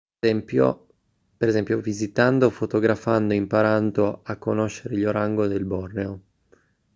per esempio visitando fotografando e imparando a conoscere gli orango del borneo